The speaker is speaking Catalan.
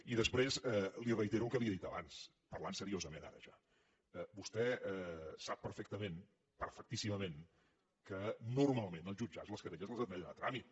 i després li reitero el que li he dit abans parlant seriosament ara vostè sap perfectament perfectíssimament que normalment als jutjats les querelles les admeten a tràmit